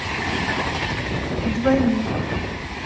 двойник